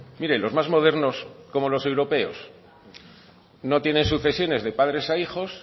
mire los más modernos como los europeos no tienen sucesiones de padres a hijos